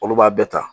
Olu b'a bɛɛ ta